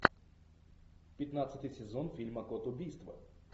пятнадцатый сезон фильма код убийства